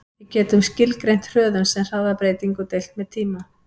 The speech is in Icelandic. Svo getum við skilgreint hröðun sem hraðabreytingu deilt með tíma.